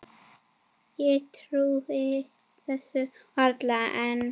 Ég trúi þessu varla enn.